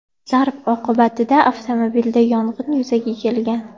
Zarb oqibatida avtomobilda yong‘in yuzaga kelgan.